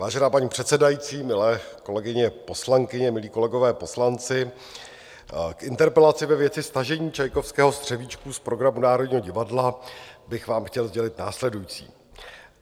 Vážená paní předsedající, milé kolegyně poslankyně, milí kolegové poslanci, k interpelaci ve věci stažení Čajkovského Střevíčků z programu Národního divadla bych vám chtěl sdělit následující.